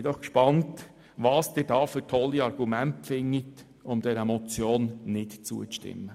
Ich bin gespannt, welche tollen Argumente Sie finden, um der Motion nicht zuzustimmen.